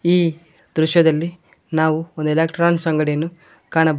ಈ ದೃಶ್ಯದಲ್ಲಿ ನಾವು ಒಂದು ಎಲೆಕ್ರಾನ್ಸ ಅಂಗಡಿಯನ್ನು ಕಾಣಬಹು--